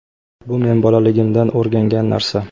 bu men bolaligimdan o‘rgangan narsa.